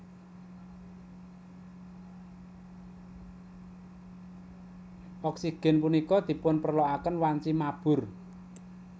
Oksigen punika dipunperloaken wanci mabur